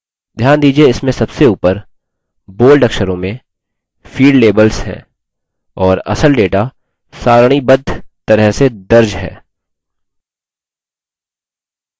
ध्यान दीजिये इसमें सबसे ऊपर bold अक्षरों में field labels हैं और असल data सारणीबद्ध तरह से दर्ज है